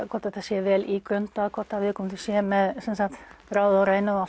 hvort þetta sé vel ígrundað og hvort viðkomandi sé með ráði og rænu og